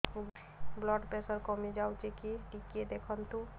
blood pressure କମି ଯାଉଛି କି ଟିକେ ଦେଖନ୍ତୁ